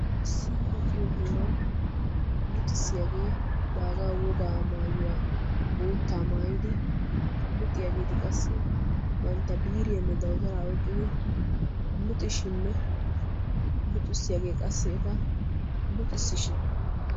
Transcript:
Issi luxiyo heeran luxissiyaage baaga wogaa maayyuwa boottaa maayyidi luxiyaageeti qassi bantta biiriyanne dawutara oyqqidi luxishinne luxissiyaage qassi eta luxissishin.